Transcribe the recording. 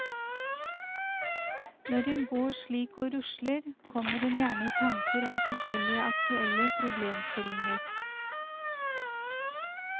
Når en går slik og rusler, kommer en gjerne i tanker om forskjellige aktuelle problemstillinger.